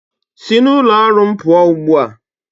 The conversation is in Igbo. Si n'ụlọ ọrụ m pụọ ugbu a!